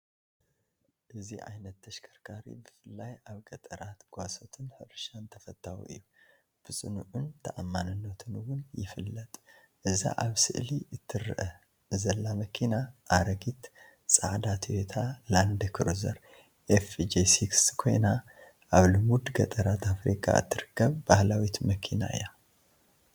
እዚ ዓይነት ተሽከርካሪት ብፍላይ ኣብ ገጠራት፡ ጓሶትን ሕርሻን ተፈታዊ እዩ። ብጽኑዕን ተኣማንነቱን እውን ይፍለጥ። እዛ ኣብ ስእሊ ትርአ ዘላ መኪና፡ ኣረጊት ጻዕዳ ቶዮታ ላንድ ክሩዘር FJ60 ኮይና፡ ኣብ ልሙድ ገጠራት ኣፍሪቃ እትርከብ ባህላዊት መኪና እያ።